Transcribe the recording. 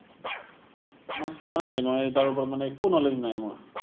মই চোৱা নাই, মই তাৰ ওপৰত মানে একো knowledge নাই মোৰ।